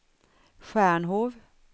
Stjärnhov